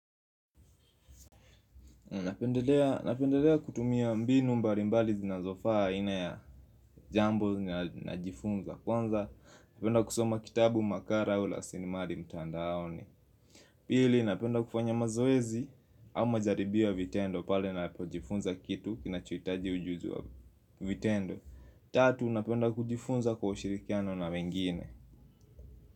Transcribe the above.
Napendelea kutumia mbinu mbali mbali zinazofaa aina ya jambo najifunza kwanza. Napenda kusoma kitabu makala ula sinimari mtandaoni. Pili napenda kufanya mazoezi au majaribio ya vitendo pale ninapojifunza kitu kinachohitaji ujuzi wa vitendo. Tatu napenda kujifunza kwa ushirikiano na wengine.